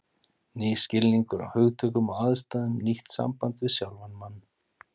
Nýr skilningur á hugtökum og aðstæðum, nýtt samband við sjálfan mann.